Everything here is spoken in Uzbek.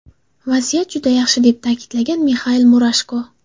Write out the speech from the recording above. Vaziyat juda yaxshi”, deb ta’kidlagan Mixail Murashko.